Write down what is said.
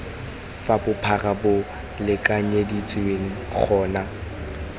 fa bophara bo lekanyeditsweng gona